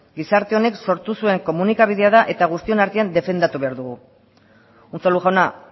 gizarte honek sortu zuen komunikabidea da eta guztion artean defendatu behar dugu unzalu jauna